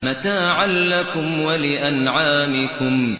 مَّتَاعًا لَّكُمْ وَلِأَنْعَامِكُمْ